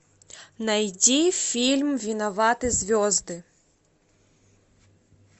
найди фильм виноваты звезды